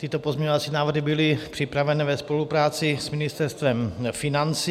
Tyto pozměňovací návrhy byly připraveny ve spolupráci s Ministerstvem financí.